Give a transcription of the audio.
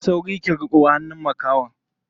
Yi sauri ki riƙo hannun makahon.